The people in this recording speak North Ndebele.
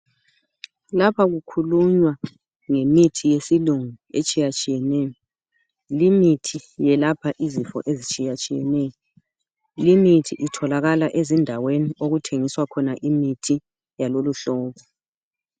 Lapha kukhulunywa ngemithi yesilungu etshiyatshiye neyo limithi iyelapha izinto ezitshiyatshiyeneyo limithi itholakala ezindaweni okuthengiswa khona imithi yalolu hlobo